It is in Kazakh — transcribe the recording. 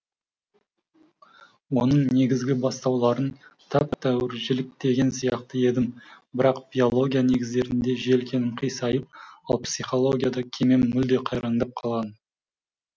оның негізгі бастауларын тәп тәуір жіліктеген сияқты едім бірақ биология негіздерінде желкенім қисайып ал психологияда кемем мүлде қайраңдап қалған